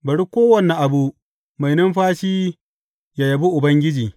Bari kowane abu mai numfashi yă yabi Ubangiji.